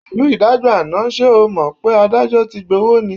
Pẹ̀lú ìdájọ́ àná, ṣe o ò mọ̀ pé adájọ́ ti gbówó ni?